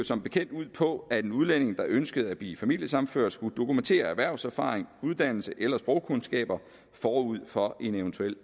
som bekendt ud på at en udlænding der ønskede at blive familiesammenført skulle dokumentere erhvervserfaring uddannelse eller sprogkundskaber forud for en eventuel